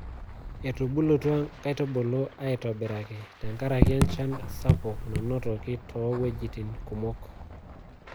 Etubulutua nkaitubulu aitobiraki tenkaraki enchan sapuk nanotoki too iwuejitin kumok.